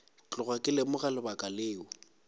tloga ke lemoga lebaka leo